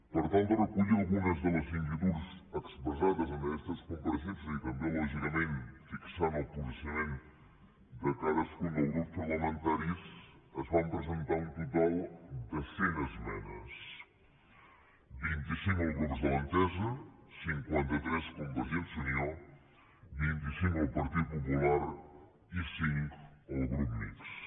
per tal de recollir algunes de les inquietuds expressades en aquestes compareixences i també lògicament fixar el posicionament de cadascun dels grups parlamentaris es van presentar un total de cent esmenes vint i cinc els grups de l’entesa cinquanta tres convergència i unió vint i cinc el partit popular i cinc el grup mixt